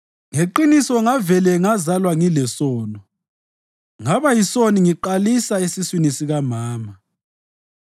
Ngeqiniso ngavele ngazalwa ngilesono, ngaba yisoni ngiqalisa esiswini sikamama.